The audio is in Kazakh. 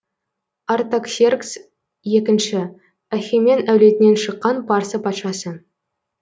артаксеркс екінші ахемен әулетінен шыққан парсы патшасы